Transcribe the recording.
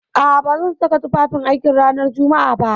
A'a, ba zan saka tufafin aiki ranar Jumma'a ba.